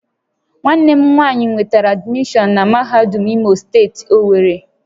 Nwanne m nwanyi nwetara admishọon na mahadum Imo steeti, Owerri